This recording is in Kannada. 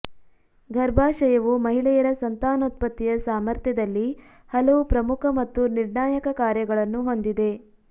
ಗರ್ಭಾಶಯವು ಮಹಿಳೆಯರ ಸಂತಾನೋತ್ಪತ್ತಿಯ ಸಾಮರ್ಥ್ಯದಲ್ಲಿ ಹಲವು ಪ್ರಮುಖ ಮತ್ತು ನಿರ್ಣಾಯಕ ಕಾರ್ಯಗಳನ್ನು ಹೊಂದಿದೆ